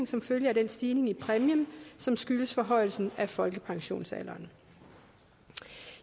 som følge af den stigning i præmien som skyldes forhøjelsen af folkepensionsalderen